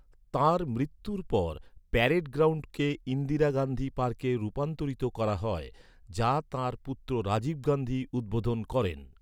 তাঁর মৃত্যুর পর, প্যারেড গ্রাউন্ডকে ইন্দিরা গান্ধী পার্কে রূপান্তরিত করা হয়, যা তাঁর পুত্র রাজীব গান্ধী উদ্বোধন করেন।